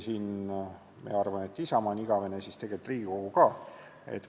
Meie arvame, et Isamaa on igavene, tegelikult on Riigikogu ka.